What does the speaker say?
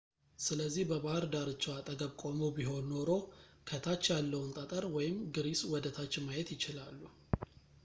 ስለዚህ በባህር ዳርቻው አጠገብ ቆመው ቢሆን ኖሮ ከታች ያለውን ጠጠር ወይም ግሪስ ወደታች ማየት ይችላሉ